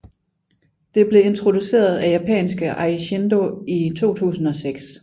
Det blev introduceret af japanske Eishindo i 2006